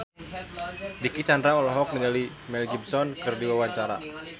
Dicky Chandra olohok ningali Mel Gibson keur diwawancara